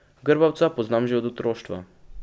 Grbavca poznam že od otroštva.